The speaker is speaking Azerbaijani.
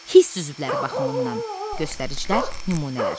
Hiss üzvləri baxımından göstəricilər nümunələr.